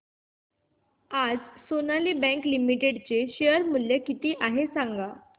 आज Sonali bank limited चे share मूल्य किती आहे सांगा